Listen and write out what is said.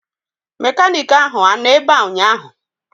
Mekaniiki ahụ anọ ebea ụnyaahụ?